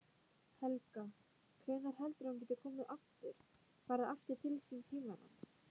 Helga: Hvenær heldurðu að hún geti komið aftur, farið aftur til síns heimalands?